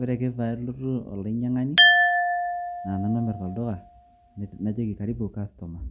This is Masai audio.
Ore ake peelotu olainyiang'ani, naa Nanu omirr olduka najoki, Karibu customer